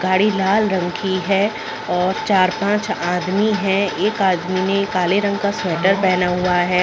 गाड़ी लाल रंग की है और चार - पाँच आदमी है एक आदमी ने काले रंग का स्वेटर पहना हुआ है।